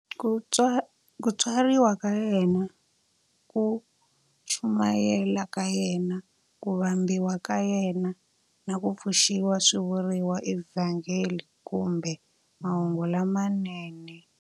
Ku tswariwa ka yena, ku chumayela ka yena, ku vambiwa ka yena, na ku pfuxiwa swi vuriwa eVhangeli kumbe"Mahungu lamanene".